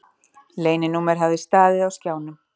Leyninúmer hafði staðið á skjánum.